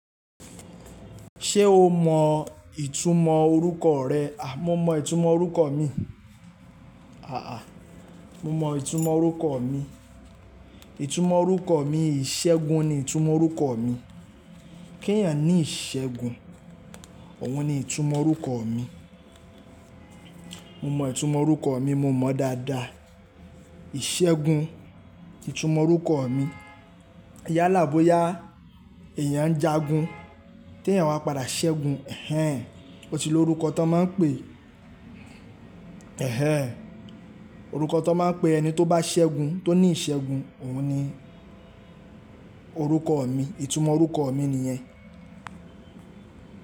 Ṣé o mọ ìtumọ̀ orúkọ rẹ? Mo mọ ìtumọ̀ orúkọ mi. Mo mọ ìtumọ̀ orúkọ mi. Ìtumọ̀ orúkọ mi, Ìṣẹ́gun ni ìtumọ̀ orúkọ mi. Kí ẹ̀eyàn ní ìṣẹ́gun, òun ni ìtumọ̀ orúkọ mi. Mo mọ ìtumọ̀ orúkọ mi, mo mọ̀ dáadáa. Ìṣẹ́gun, ìtumọ̀ orúkọ mi. Yala boya, eẹ̀yàn ń jagun, tí ẹ̀eyàn wá padà ṣẹ́gun, ó ti lo orúkọ tó n máa ń pè, orúkọ tó n máa ń pe ẹni tó bá ṣẹ́gun, tó ní ìṣẹ́gun, òun ni orúkọ mi. Ìtumọ̀ orúkọ mi nìyẹn.